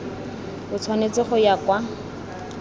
o tshwanetse go ya kwa